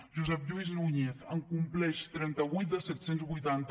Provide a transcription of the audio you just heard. josep lluís núñez en compleix trenta vuit dels set cents i vuitanta